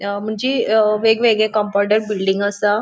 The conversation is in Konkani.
अ मुनजे अ वेग वेगळे कंपौंडांक बिल्डिंग्यो असा.